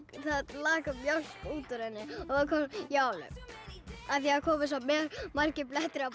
lak mjólk út úr henni ég alveg af því að komu svo margir blettir á